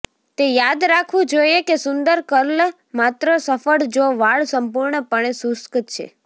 તે યાદ રાખવું જોઈએ કે સુંદર કર્લ માત્ર સફળ જો વાળ સંપૂર્ણપણે શુષ્ક છે